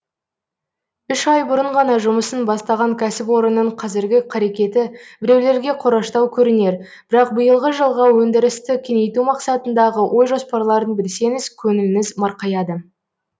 үш ай бұрын ғана жұмысын бастаған кәсіпорынның қазіргі қарекеті біреулерге қораштау көрінер бірақ биылғы жылға өндірісті кеңейту мақсатындағы ой жоспарларын білсеңіз көңіліңіз марқаяды